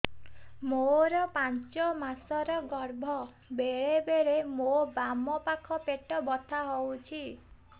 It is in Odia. ମୋର ପାଞ୍ଚ ମାସ ର ଗର୍ଭ ବେଳେ ବେଳେ ମୋ ବାମ ପାଖ ପେଟ ବଥା ହଉଛି